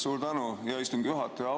Suur tänu, hea istungi juhataja!